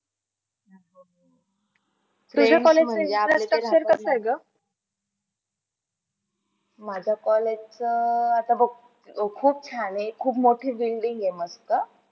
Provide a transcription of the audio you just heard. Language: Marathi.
माझ्या college च आता बघ खूप छान आहे. खूप मोठी building आहे मस्त.